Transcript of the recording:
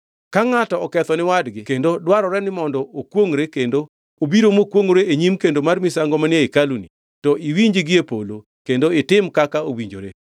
“Ka ngʼato oketho ni wadgi kendo dwarore ni mondo okwongʼre kendo obiro mokwongʼore e nyim kendo mar misango manie hekaluni,